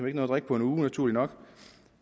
ikke nå at drikke på en uge naturligt nok